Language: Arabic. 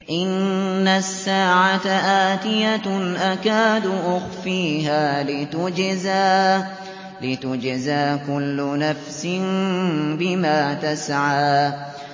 إِنَّ السَّاعَةَ آتِيَةٌ أَكَادُ أُخْفِيهَا لِتُجْزَىٰ كُلُّ نَفْسٍ بِمَا تَسْعَىٰ